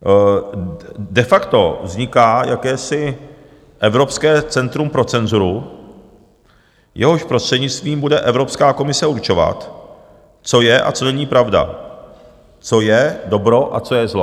De facto vzniká jakési evropské centrum pro cenzuru, jehož prostřednictvím bude Evropská komise určovat, co je a co není pravda, co je dobro a co je zlo.